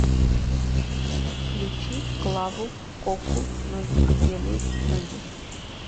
включи клаву коку ноги делают ноги